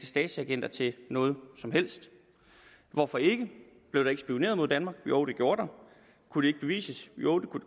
stasiagenter til noget som helst hvorfor ikke blev der ikke spioneret mod danmark jo det gjorde der kunne det ikke bevises jo det kunne